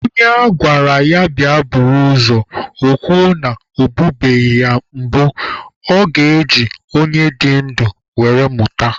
Onye agwara ya bịa buru ozu, o kwuo na ya ebunubeghị ya mbụ, ọ ga-eji onye dị ndụ were mụta?